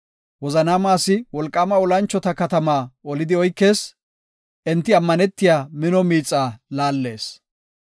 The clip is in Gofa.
Wozanaama asi wolqaama olanchota katamaa olidi oykees; enti ammanetiya mino miixaa laallees.